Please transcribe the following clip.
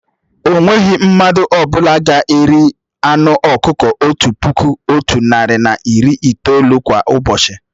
O nweghị mmadụ ọ bụla ga-eri anụ ọkụkọ otu puku, otu narị na iri itoolu kwá ụbọchị